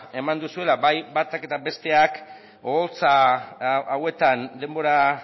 eman duzuela bai batak eta bai besteak oholtza hauetan denbora